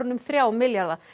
um þrjá milljarða